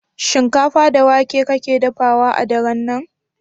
Shinkafa da wake kake dafawa a daren nan?